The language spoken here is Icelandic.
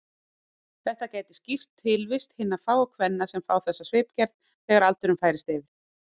Það gæti skýrt tilvist hinna fáu kvenna sem fá þessa svipgerð þegar aldurinn færist yfir.